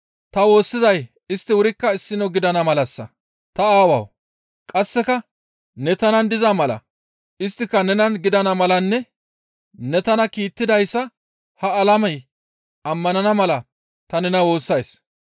Ta woossizay istti wurikka issino gidana malassa. Ta Aawawu! Qasseka ne tanan diza mala isttika nunan gidana malanne ne tana kiittidayssa ha alamey ammanana mala ta nena woossays.